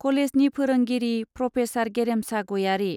कलेजनि फोरोंगिरि प्रफेसर गेरेमसा गयारी।